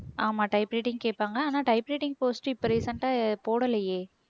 ஆமா type writing கேட்பாங்க ஆனா type writing post இப்போ recent ஆ போடலையே